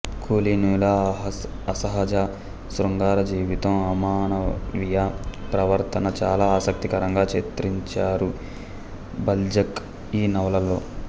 కులీనుల అసహజ శృంగారజీవితం అమానవీయ ప్రవర్తన చాలా ఆసక్తికరంగా చిత్రించారు బాల్జాక్ ఈనవలలో